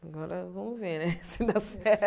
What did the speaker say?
Agora vamos ver né se dá